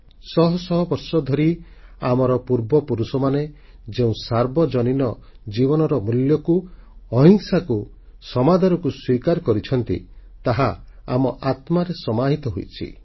ଶହ ଶହ ବର୍ଷଧରି ଆମର ପୂର୍ବପୁରୁଷମାନେ ଯେଉଁ ସାର୍ବଜନୀନ ଜୀବନର ମୂଲ୍ୟକୁ ଅହିଂସାକୁ ସମାଦରକୁ ସ୍ୱୀକାର କରିଛନ୍ତି ତାହା ଆମ ଆତ୍ମାରେ ସମାହିତ ହୋଇରହିଛି